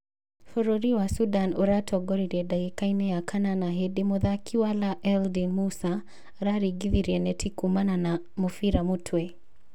Bũrũri wa Sudan ũratongorie ndagĩka-inĩ y kanana hĩndĩ mũthaki Walaa Eldin Musa araringingithirie neti kuumana na mũbira mũtwe.